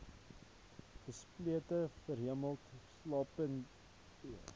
gesplete verhemelte slaapapnee